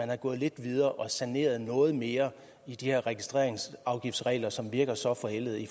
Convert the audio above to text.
var gået lidt videre og havde saneret noget mere i de her registreringsafgiftsregler som virker så forældede i